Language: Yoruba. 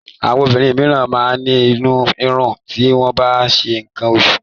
Àwọn obìnrin míràn máa ń ní inú rírun ti wọ́n bá ń ṣe nǹkan oṣù.